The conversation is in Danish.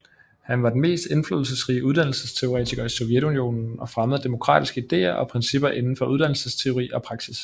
Han var den mest indflydelsesrige uddannelsesteoretiker i Sovjetunionen og fremmede demokratiske ideer og principper inden for uddannelsesteori og praksis